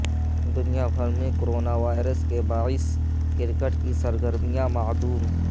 دنیا بھر میں کرونا وائرس کے باعث کرکٹ کی سرگرمیاں معدوم